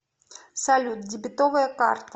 салют дебетовая карта